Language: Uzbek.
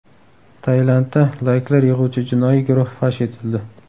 Tailandda layklar yig‘uvchi jinoiy guruh fosh etildi.